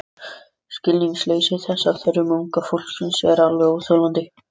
Skilningsleysi þess á þörfum unga fólksins er alveg óþolandi.